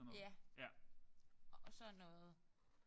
JA og sådan noget